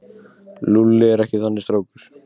Lúlli er ekki þannig strákur.